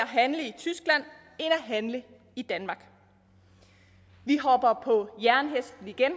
handle i danmark vi hopper på jernhesten igen